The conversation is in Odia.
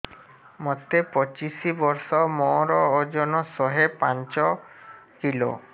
ମୋତେ ପଚିଶି ବର୍ଷ ମୋର ଓଜନ ଶହେ ପାଞ୍ଚ କିଲୋ